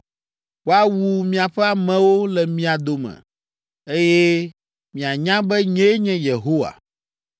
Woawu miaƒe amewo le mia dome, eye mianya be nyee nye Yehowa.’ ”